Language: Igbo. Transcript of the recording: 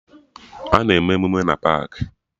Ana eme emụme na paakị